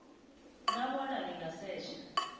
na bona lingasetjha